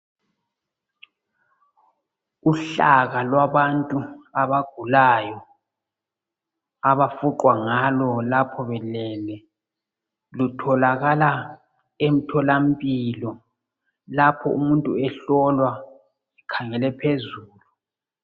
Uhlaka lwabantu abagulayo abafuqwa ngalo lapha belele lutholakala emtholampilo lapho umuntu ehlolwa ekhangele phezulu.